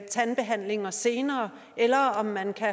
tandbehandlinger senere eller om man kan